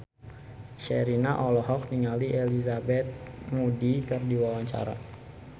Sherina olohok ningali Elizabeth Moody keur diwawancara